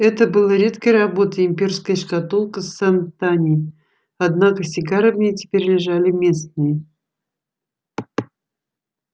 это была редкой работы имперская шкатулка с сантани однако сигары в ней теперь лежали местные